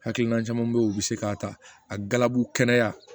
Hakilina caman be yen u bi se k'a ta a galabu kɛnɛya